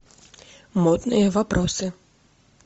модные вопросы